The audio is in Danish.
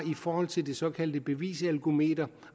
i forhold til det såkaldte bevisalkometer